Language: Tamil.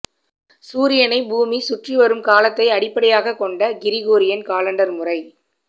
சூரியனை பூமிச் சுற்றி வரும் காலத்தை அடிப்படையாக கொண்ட கிரிகோரியன் காலண்டர் முறை